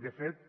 de fet